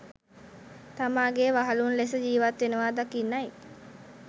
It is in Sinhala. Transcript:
තමාගේ වහලුන් ලෙස ජීවත් වනවා දකින්නයි.